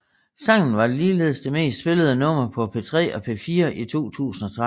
Sangen var ligeledes det mest spillede nummer på P3 og P4 i 2013